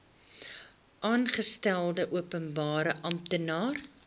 aangestelde openbare amptenaar